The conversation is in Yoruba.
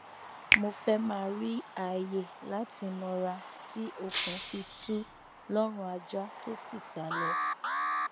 mo fẹ ma ri aaye lati nara ti okun fi tu lọrun aja to si sá lọ